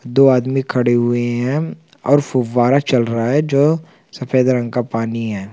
दो आदमी खड़े हुए है और फुव्वारा चल रहा है जो सफ़ेद रंग का पानी है।